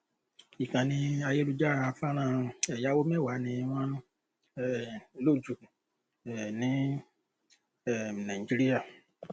ìkànnì ayélujára fọnrán ẹyáwó mẹwàá ni wọn um lò jù um ní um nàìjíríà